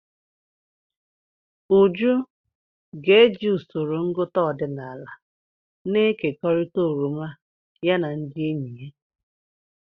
Uju ga-eji usoro ngụta ọdịnala na-ekekọrịta oroma ya na ndị enyi ya.